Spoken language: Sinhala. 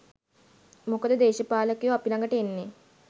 මොකද දේශපාලකයො අපි ලගට එන්නෙ